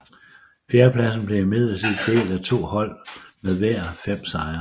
Fjerdepladsen blev imidlertid delt af to hold med hver fem sejre